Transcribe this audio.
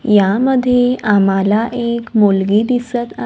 यामध्ये आम्हाला एक मुलगी दिसत आ --